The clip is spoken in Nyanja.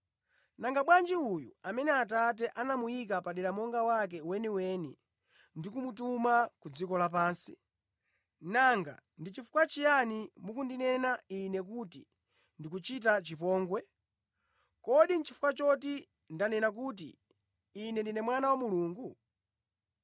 nanga bwanji uyu amene Atate anamuyika padera monga wake weniweni ndi kumutuma ku dziko lapansi? Nanga ndi chifukwa chiyani mukundinena Ine kuti ndikuchita chipongwe? Kodi nʼchifukwa choti ndanena kuti, ‘Ine ndine Mwana wa Mulungu?’